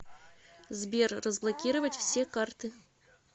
сбер разблокировать все карты